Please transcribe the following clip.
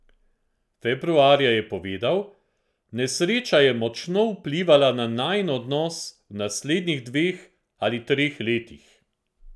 Februarja je povedal: "Nesreča je močno vplivala na najin odnos v naslednjih dveh ali treh letih.